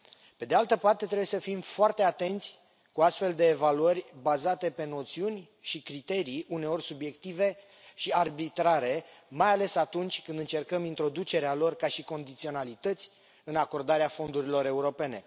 Pe de altă parte, trebuie să fim foarte atenți cu astfel de evaluări bazate pe noțiuni și criterii uneori subiective și arbitrare, mai ales atunci când încercăm introducerea lor ca și condiționalități în acordarea fondurilor europene.